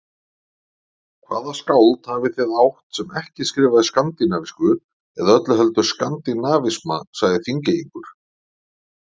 Hvaða skáld hafið þið átt, sem ekki skrifaði skandinavísku eða öllu heldur skandinavisma, sagði Þingeyingur.